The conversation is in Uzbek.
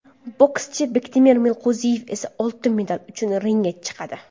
Bokschi Bektemir Meliqo‘ziyev esa oltin medal uchun ringga chiqadi.